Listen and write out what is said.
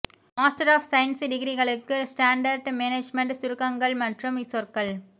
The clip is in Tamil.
மாஸ்டர் ஆஃப் சயின்ஸ் டிகிரிகளுக்கு ஸ்டாண்டர்ட் மேனேஜ்மெண்ட் சுருக்கங்கள் மற்றும் சொற்கள்